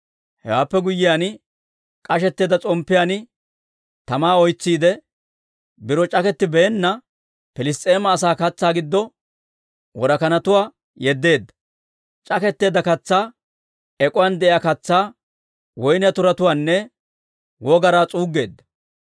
Hewaappe guyyiyaan, k'ashetteedda s'omppiyaan tamaa oytsiidde, biro c'akettibeenna Piliss's'eema asaa katsaa giddo worakanatuwaa yeddeedda; c'aketteedda katsaa, ek'uwaan de'iyaa katsaa, woyniyaa turatuwaanne wogaraa s'uuggeedda.